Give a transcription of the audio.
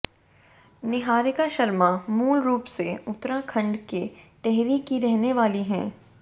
निहारिका शर्मा मूल रूप से उत्तराखंड के टिहरी की रहने वाली हैं